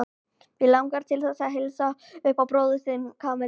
Mig langar til þess að heilsa upp á bróður þinn, Kamilla.